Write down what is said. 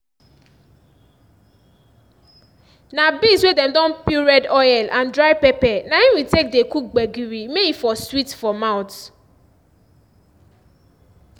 na beans wey dem don peel red oil and dry pepper na im we take dey cook gbegiri may e for sweet for mouth